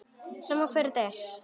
Sama hver þetta er.